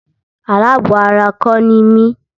Alábọ̀ ara kọ́ ni mí.